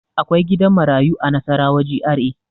Akwai gidan marayu a Nasarawa GRA.